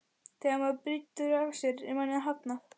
Þegar maður brýtur af sér er manni hafnað.